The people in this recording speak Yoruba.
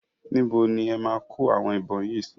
Ibo ni e máa kó àwọn ìbọn yìí sí?